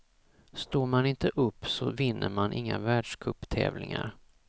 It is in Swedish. Står man inte upp så vinner man inga världscuptävlingar.